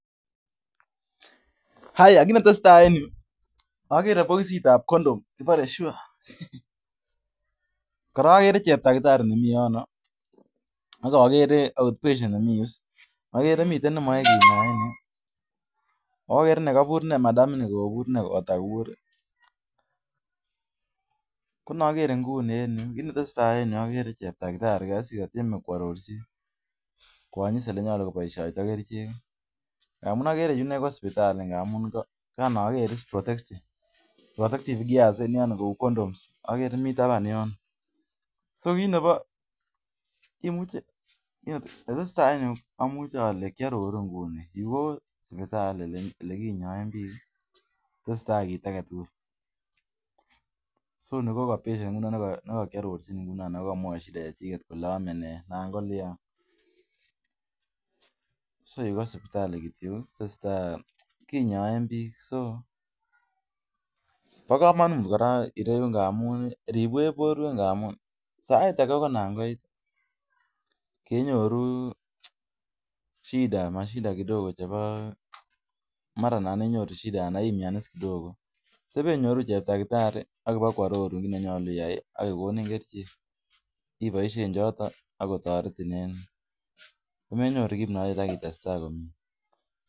Mi pokisit ap condom kibare SURE . Agere cheptakitari ne mi yon ak outpatient ne mi yu. Cheptakitari borchin ole ki baisien dawa.